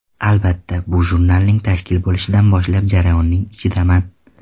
Albatta, bu jurnalning tashkil bo‘lishidan boshlab jarayonning ichidaman.